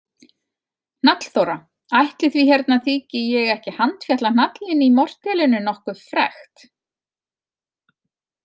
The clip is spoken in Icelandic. Hnallþóra: Ætli því hérna þyki ég ekki handfjatla hnallinn í mortélinu nokkuð frekt.